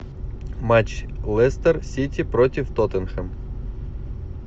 матч лестер сити против тоттенхем